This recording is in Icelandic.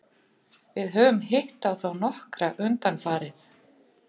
Við höfum hitt á þá nokkra undanfarið.